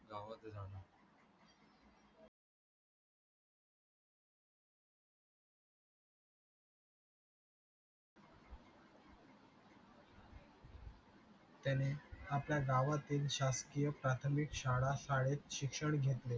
त्याने आपल्या गावातील शासकीय प्राथमिक शाळा शाळेत शिक्षण घेतले